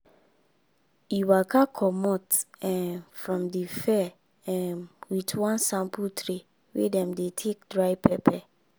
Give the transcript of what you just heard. e waka comot um from the fair um with one sample tray wey dem dey take dry pepper